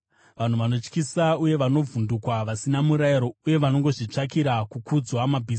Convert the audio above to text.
Vanhu vanotyisa uye vanovhundukwa; vasina murayiro unovatonga uye vanongozvitsvakira kukudzwa.